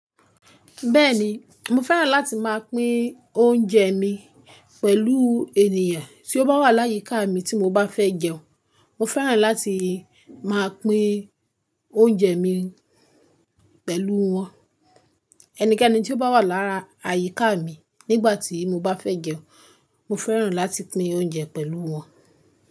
Bẹ́ẹ̀ni, mo fẹ́ràn láti máa pín oúnjẹ mi pẹ̀lú ènìyàn. Tí ó bá wà láyíká mi tí mo bá fẹ́ jẹun, mo fẹ́ràn láti máa pín oúnjẹ mi pẹ̀lú wọn. Ẹnikẹ́ni tí ó bá wà lára àyíká mi nígbà tí mo bá fẹ́ jẹun, mo fẹ́ràn láti pín oúnjẹ pẹ̀lú wọn.